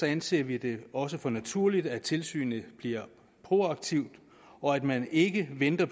anser vi det også for naturligt at tilsynet bliver proaktivt og at man ikke venter